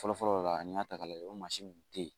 Fɔlɔfɔlɔ la an y'a ta k'a lajɛ o mansin kun tɛ yen